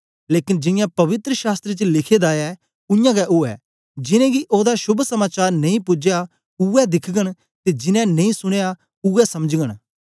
लेकन जियां पवित्र शास्त्र च लिखे दा ऐ उयांगै उवै जिनेंगी ओदा शोभ समाचार नेई पूजया उवै दिखगन ते जिनैं नेई सुनयां उवै समझगन